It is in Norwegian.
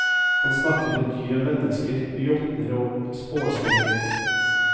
Han snakker med dyr og mennesker, med jotner og spåkjerringer.